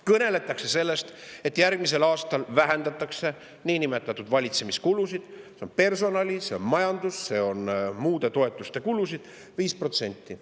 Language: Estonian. Kõneldakse sellest, et järgmisel aastal vähendatakse niinimetatud valitsemiskulusid, mis on personali‑, majandus‑ ja muude toetuste kulud, 5%.